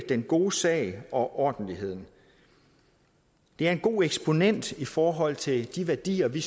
den gode sag og ordentligheden det er en god eksponent i forhold til de værdier vi